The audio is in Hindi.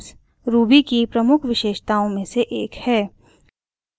rubygems ruby की प्रमुख विशेषताओं में से एक है